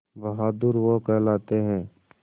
बहादुर वो कहलाते हैं